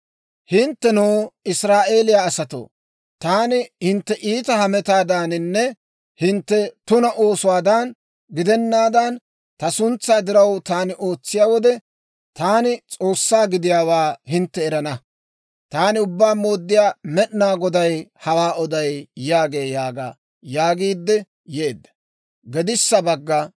Hinttenoo, Israa'eeliyaa asatoo, taani hintte iita hametaadaaninne hintte tuna oosuwaadan gidennaan, ta suntsaa diraw taani ootsiyaa wode, taani S'oossaa gidiyaawaa hintte erana. Taani Ubbaa Mooddiyaa Med'inaa Goday hawaa oday yaagee› yaaga» yaagiidde yeedda.